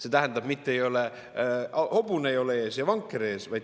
See tähendab, et mitte hobune ei ole vankri ees, vaid vanker on hobuse ees.